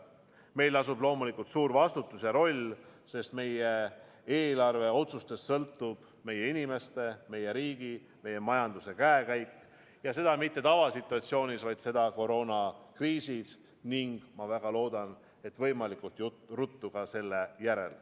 Meil lasub loomulikult suur vastutus ja roll, sest meie eelarveotsustest sõltub meie inimeste, meie riigi, meie majanduse käekäik ja seda mitte tavasituatsioonis, vaid koroonakriisis ning ma väga loodan, et võimalikult ruttu selle järel.